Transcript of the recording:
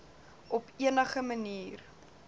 op enige manier